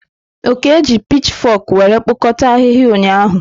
Oke jiri pitchfok were kpokọta ahihia ụnyahụ.